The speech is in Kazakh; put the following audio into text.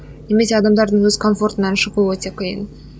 немесе адамдардың өз комфортынан шығу өте қиын